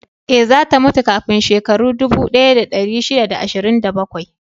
Ee, za ta mutu kafin shekaru dubu ɗaya da ɗari shida da ashirin da bakwai